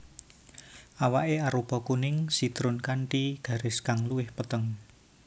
Awaké arupa kuning sitrun kanthi garis kang luwih peteng